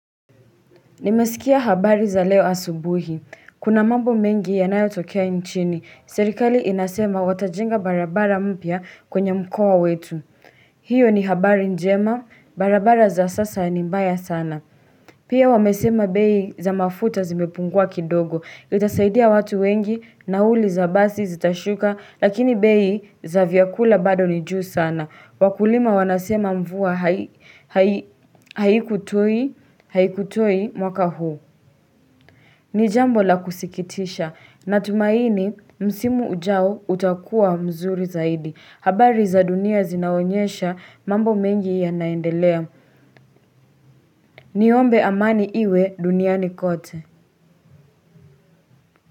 Nimesikia habari za leo asubuhi. Kuna mambo mengi yanayotokea nchini. Serikali inasema watajenga barabara mpya kwenye mkoa wetu. Hiyo ni habari njema. Barabara za sasa ni mbaya sana. Pia wamesema bei za mafuta zimepungua kidogo. Itasaidia watu wengi nauli za basi zitashuka lakini bei za vyakula bado ni juu sana. Wakulima wanasema mvua haikutoi mwaka huu. Ni jambo la kusikitisha. Natumaini msimu ujao utakua mzuri zaidi. Habari za dunia zinaonyesha mambo mengi yanaendelea. Niombe amani iwe duniani kote.